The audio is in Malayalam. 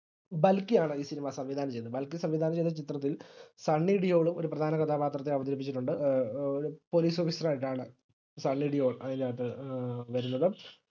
ബൽക്കിയാണ് ഈ cinema സംവിധാനം ചെയ്തത് ബൽക്കി സംവിധാനം ചെയ്ത ചിത്രത്തിൽ സണ്ണി ലിയോണ് ഒര് പ്രധാനകഥാപാത്രത്തെ അവതരിപ്പിച്ചിട്ടുണ്ട് ഏർ ഏഹ് ഒര് പോലീസ് officer ആയിട്ടാണ് സണ്ണി ലിയോൺ അതിനകത്തു ഏഹ് വരുന്നത്